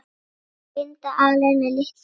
Linda alein með litla kút.